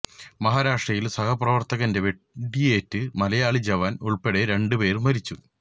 മഹാരാഷ്ട്രയിൽ സഹപ്രവർത്തകന്റെ വെടിയേറ്റ് മലയാളി ജവാൻ ഉൾപ്പെടെ രണ്ടു പേർ മരിച്ചു